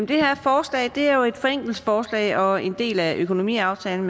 det her forslag er jo et forenklingsforslag og en del af økonomiaftalen